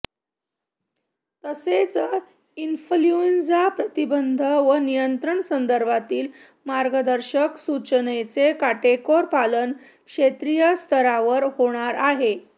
तसेच इन्फल्यूएंझा प्रतिबंध व नियंत्रण संदर्भातील मार्गदर्शक सूचनांचे काटेकोर पालन क्षेत्रीयस्तरावर होणार आहे